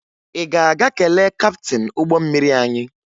Ị ga-aga kelee kaptịn ụgbọ mmiri anyị?